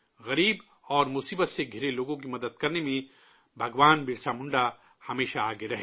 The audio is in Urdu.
غریب اور مصیبت سے گھرے لوگوں کی مدد کرنے میں بھگوان برسا منڈا ہمیشہ آگے رہے